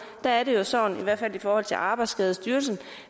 er det jo sådan i hvert fald i forhold til arbejdsskadestyrelsen